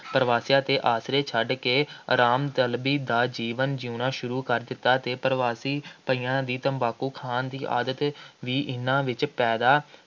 ਪ੍ਰਵਾਸੀਆਂ ਦੇ ਆਸਰੇ ਛੱਡ ਕੇ ਆਰਾਮ ਦਾ ਜੀਵਨ ਜਿਉਣਾ ਸ਼ੁਰੂ ਕਰ ਦਿੱਤਾ ਅਤੇ ਪ੍ਰਵਾਸੀ ਭਈਆਂ ਦੀ ਤੰਬਾਕੂ ਖਾਣ ਦੀ ਆਦਤ ਵੀ ਇਹਨਾ ਵਿੱਚ ਪੈਦਾ